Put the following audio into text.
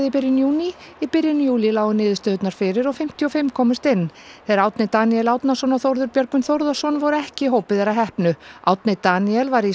byrjun júní í byrjun júlí lágu niðurstöðurnar fyrir og fimmtíu og fimm komust inn þeir Árni Daníel Árnason og Þórður Björgvin Þórðarson voru ekki í hópi þeirra heppnu Árni Daníel var í